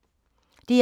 DR2